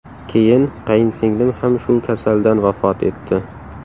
Keyin qayinsinglim ham shu kasaldan vafot etdi.